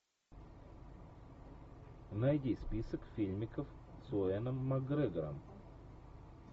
найди список фильмиков с юэном макгрегором